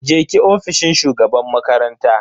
je ki ofishin shugaban makaranta.